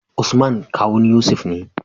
Usman kawun yusuf ne